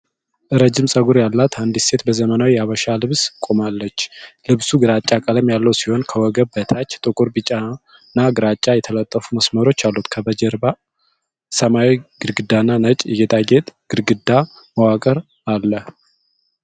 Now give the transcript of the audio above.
ረዥም ጸጉር ያላት አንዲት ሴት በዘመናዊ የሀበሻ ልብስ ቆማለች። ልብሱ ግራጫ ቀለም ያለው ሲሆን ከወገብ በታች ጥቁር፣ ቢጫና ግራጫ የተጠለፉ መስመሮች አሉት። ከጀርባ ሰማያዊ ግድግዳና ነጭ የጌጣጌጥ ግድግዳ መዋቅር አለ።